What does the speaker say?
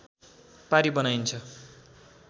पारी बनाइन्छ